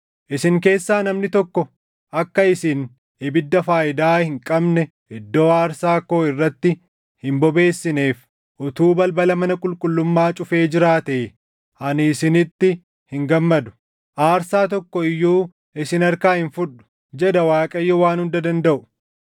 “Isin keessaa namni tokko akka isin ibidda faayidaa hin qabne iddoo aarsaa koo irratti hin bobeessineef utuu balbala mana qulqullummaa cufee jiraatee! Ani isinitti hin gammadu; aarsaa tokko iyyuu isin harkaa hin fudhu” jedha Waaqayyo Waan Hunda Dandaʼu.